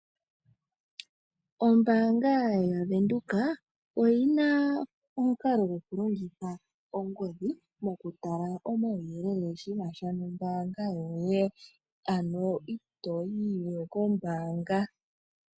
Ombaanga yavenduka oyina omukalo goku longitha ongodhi mokutala omauyelele shinasha nombaanga yoye ano ito yiwe kombaanga.